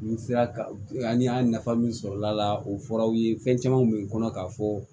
Nin sira kan ani an ye nafa min sɔrɔ ala la o fɔr'aw ye fɛn camanw bɛ kɔnɔ k'a fɔ